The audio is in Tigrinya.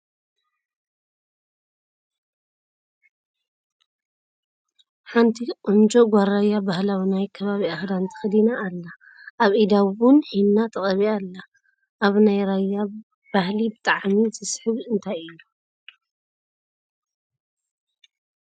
ሓንቲ ቆንጆ ጋል ራያ ባህላዊ ናይ ከባቢኣ ክዳን ተከዲና ኣላ ። ኣብ ኢዳ እውን ሒና ተቀቢኣ ኣላ ። ኣብ ናይ ራያ ባህሊ ብጥዕሚ ዝስሕብ እንታይ እዩ ?